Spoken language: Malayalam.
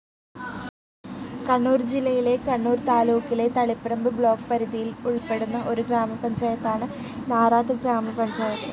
കണ്ണൂർ ജില്ലയിലെ കണ്ണൂർ താലൂക്കിലെ തളിപ്പറമ്പ് ബ്ലോക്ക്‌ പരിധിയിൽ ഉൾപ്പെടുന്ന ഒരു ഗ്രാമപഞ്ചായത്താണ് നാറത്ത് ഗ്രാമപഞ്ചായത്ത്.